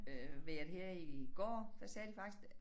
Øh vejret her i går der sagde de faktisk